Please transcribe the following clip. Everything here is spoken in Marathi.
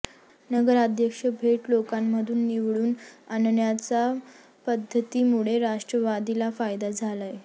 नगराध्यक्ष थेट लोकांमधून निवडून आणण्याच्या पद्धतीमुळे राष्ट्रवादीला फायदा झालाय